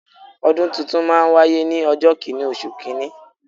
Ọdún tuntun máa n wáyé ní ọjọ́ kìnì oṣù kìíní